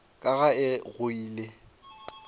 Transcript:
ka ga e go ile